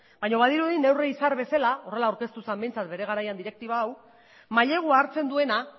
baina badirudi neurri izar bezala horrela aurkeztu zen behintzat bere garaian direktiba hau mailegua hartzen duena